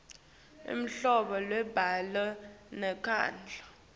luhlobo lwembhalo nenkondlo